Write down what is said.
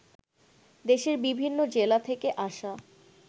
দেশের বিভিন্ন জেলা থেকে আসা